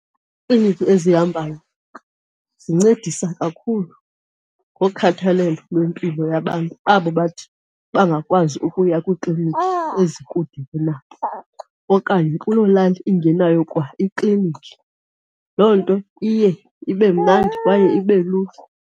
Iikliniki ezihambayo zincedisa kakhulu ngokhathalelo lwempilo yabantu abo bathi bangakwazi ukuya kwiiklinikhi ezikude kunabo okanye kuloo lali ingenayo kwaikliniki. Loo nto iye ibe mnandi kwaye ibe lula.